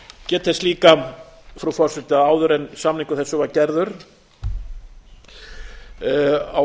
get þess líka frú forseti að áður en samningur þessi var gerður var á